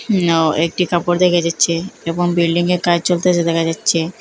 উমনও একটি কাপড় দেখা যাচ্চে এবং বিল্ডিংয়ে কাজ চলতেসে দেখা যাচ্চে।